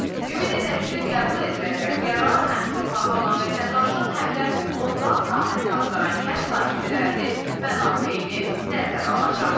Ümid edək ki, qəbul ediləcək qərar həm torpağı alan vətəndaşın, həm də otlaq sahəsi axtaran kənd sakinlərinin mənafeyini nəzərə alacaq.